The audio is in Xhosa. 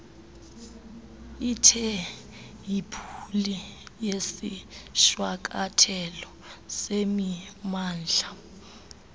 itheyibhuli yesishwankathelo semimandla